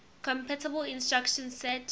compatible instruction set